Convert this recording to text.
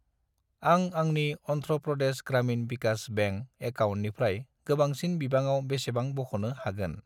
आं आंनि अन्ध्र प्रदेश ग्रामिन भिकास बेंक एकाउन्टनिफ्राय गोबांसिन बिबाङाव बेसेबां बख'नो हागोन?